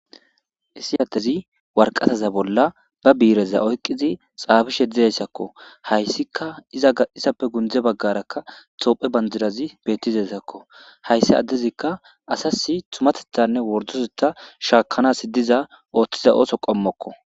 Issi aththezi warqasaza bolla biireza oyqqiza tsaafishe dizeysakko; haysikka izappe gundde baggarakka toophphe banddirazi beeththizezakko; hayssi addezikka asassi thumatheththanne worddotheththaa shaakkanaassi diza ooththiza ooso qommokko.